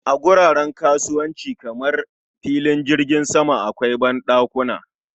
A wuraren kasuwanci kamar filin jirgi akwai banɗakuna